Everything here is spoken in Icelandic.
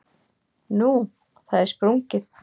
Nú, það er sprungið.